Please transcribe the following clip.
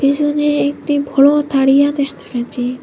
পেছনে একটি বড় তাড়িয়া দেখতে পাচ্চি।